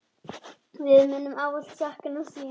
Við munum ávallt sakna þín.